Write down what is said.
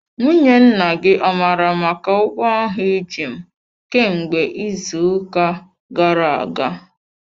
Nwunye nna gị ọ mara maka ụgwọ ahụ iji m kemgbe izu uka gara aga?